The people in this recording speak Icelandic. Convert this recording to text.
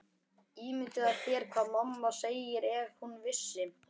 Ímyndaðu þér hvað mamma segði ef hún vissi.